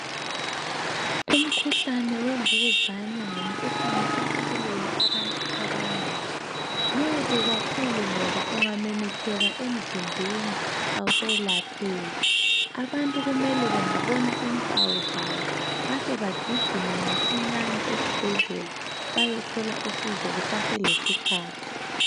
Umkhuhlane wemvukuzane ngumkhuhlale osubulele abantu abanengi. Mubi kakhulu ngoba ungamemetheka emzimbeni awusayelapheki. Abantu kumele bengabona impawu zawo bahle bagijime masinyane esibhedlela bayothola usizo kuseselesikhathi.